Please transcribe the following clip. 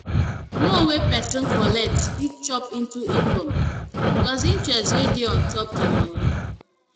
Loan wey person collect fit chop into income, plus interest wey dey on top di loan